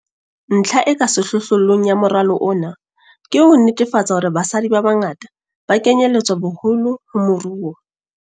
Ntlha e ka sehlohlolong ya moralo ona ke ho netefatsa hore basadi ba bangata ba kenyeletswa boholo mo moruo.